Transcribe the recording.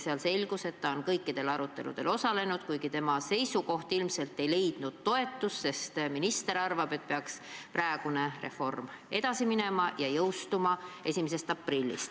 Seal selgus, et ta on kõikidel aruteludel osalenud, kuid tema seisukoht ei leidnud ilmselt toetust, sest minister arvas, et praegune reform peaks edasi minema ja jõustuma 1. aprillil.